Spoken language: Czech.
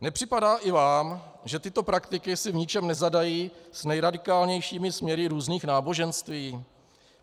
Nepřipadá i vám, že tyto praktiky si v ničem nezadají s nejradikálnějšími směry různých náboženství?